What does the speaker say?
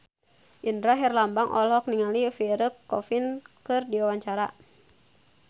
Indra Herlambang olohok ningali Pierre Coffin keur diwawancara